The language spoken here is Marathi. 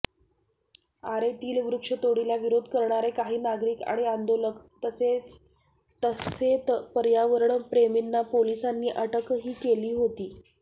आरेतील वृक्षतोडीला विरोध करणारे काही नागरिक आणि आंदोलक तसेत पर्यावरण प्रेमींना पोलिसांनी अटकही केली होती